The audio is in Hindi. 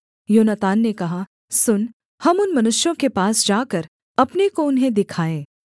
योनातान ने कहा सुन हम उन मनुष्यों के पास जाकर अपने को उन्हें दिखाएँ